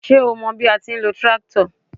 Ṣo mọ bí a ti ń lo tíráktọ̀?